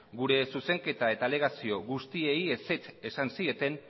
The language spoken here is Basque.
gure zuzenketa eta alegazio guztiei ezetz esan zieten